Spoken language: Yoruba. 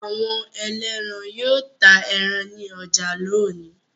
Awọn ẹlẹ́ran yóò ta ẹran ní ọjà lónìí.